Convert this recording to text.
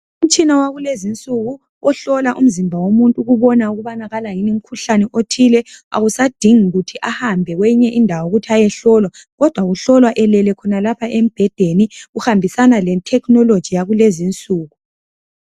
Umtshina wakulezi nsuku ohlola umzimba womuntu ukubona ukubana kala yini umkhuhlane othile awusadingi kuthi ahambe Kweyinye indawo ukuthi ayehlolwa kodwa uhlolwa elele khonalapha embhedeni kuhambisana le thekhinoloji yakulezi nsuku